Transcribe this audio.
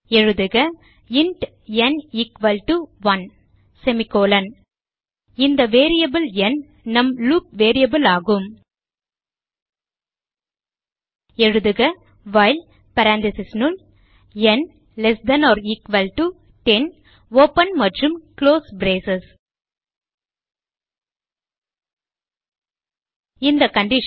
எழுதுக int n 1 இந்த variable n நம் லூப் வேரியபிள் ஆகும் எழுதுக வைல் parenthesis னுள் n less than or equal to 10 open மற்றும் குளோஸ் பிரேஸ் இந்த கண்டிஷன்